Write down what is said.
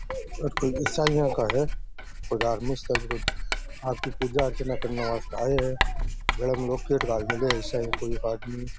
अटे ईसाइयो का है धार्मिक स्थल में आदमी पूजा अर्चना करने वास्ते आये है गले में लॉकेट घाल मेळो है।